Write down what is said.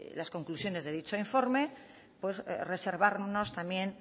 las conclusiones de dicho informe pues reservarnos también